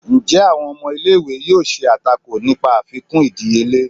njẹ awón ọmọ ìlé-ìwé yóò ṣe atákò nìpa àfikún ìdíyele?